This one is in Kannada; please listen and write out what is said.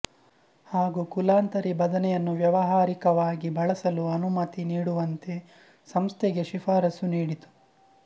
ಹಾಗೂ ಕುಲಾಂತರಿ ಬದನೆಯನ್ನು ವ್ಯಾವಹಾರಿಕವಾಗಿ ಬಳಸಲು ಅನುಮತಿ ನೀಡುವಂತೆ ಸಂಸ್ಥೆಗೆ ಶಿಫಾರಸು ನೀಡಿತು